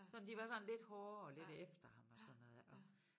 Sådan de var sådan lidt hårde og lidt efter ham og sådan noget ik og